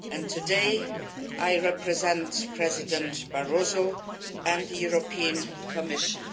Today I represent President Barroso and the European Commission.